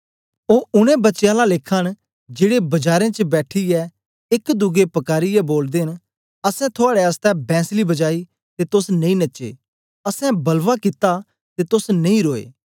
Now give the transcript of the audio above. ओ उनै बच्चें आला लेखा न जेड़े बजारें च बैठीयै एक दुए पकारिऐ बोलदे न असैं थुआड़े आसतै बैंसली बजाई ते तोस नेई नचे असैं वलाव कित्ता ते तोस नेई रोए